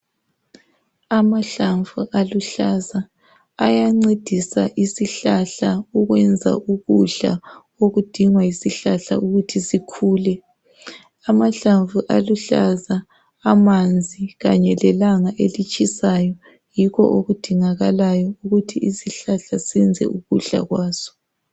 amahlamvu aluhlaza ayancedisa isihlahla ukwenza ukudla okudingwa yisihlahla sikhule amahlamvu aluhlaza amanzi kanye lelanga elitshisayo yikho okudingalayo ukuthi izihlahla zenze ukudla kwazo